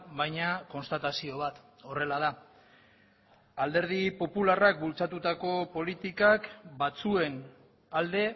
baina konstatazio bat horrela da alderdi popularrak bultzatutako politikak batzuen alde